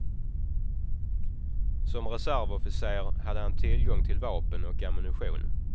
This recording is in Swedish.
Som reservofficer hade han tillgång till vapen och ammunition.